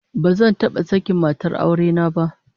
Bazan taba sakin matar aure na ba